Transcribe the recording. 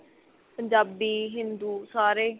ਪੰਜਾਬੀ ਹਿੰਦੂ ਸਾਰੇ